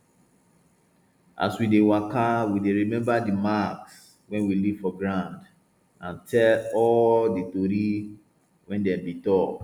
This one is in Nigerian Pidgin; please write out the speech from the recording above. as we dey waka we dey remember di marks wey we leave for ground and all di tori wey dem bin talk